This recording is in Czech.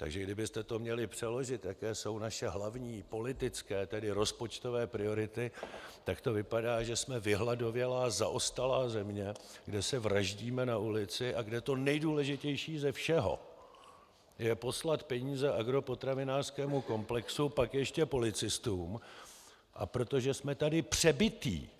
Takže kdybyste to měli přeložit, jaké jsou naše hlavní politické, tedy rozpočtové priority, tak to vypadá, že jsme vyhladovělá, zaostalá země, kde se vraždíme na ulici a kde to nejdůležitější ze všeho je poslat peníze agropotravinářskému komplexu, pak ještě policistům, a protože jsme tady přebití